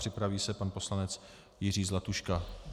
Připraví se pan poslanec Jiří Zlatuška.